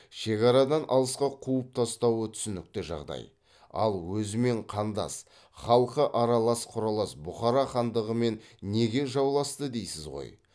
шекарадан алысқа қуып тастауы түсінікті жағдай ал өзімен қандас халқы аралас қүралас бұхара хандығымен неге жауласты дейсіз ғой